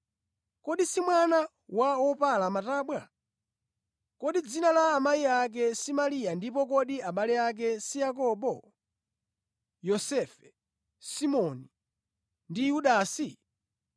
Kodi si mwana wa wopala matabwa? Kodi dzina la amayi ake si Mariya ndipo kodi abale ake si Yakobo, Yosefe, Simoni ndi Yudasi?